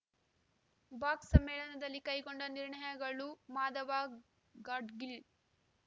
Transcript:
box ಸಮ್ಮೇಳನದಲ್ಲಿ ಕೈಗೊಂಡ ನಿರ್ಣಯಗಳು ಮಾಧವ ಗಾಡ್ ಗಿಳ್‌